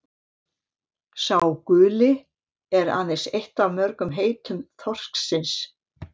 „sá guli“ er aðeins eitt af mörgum heitum þorsksins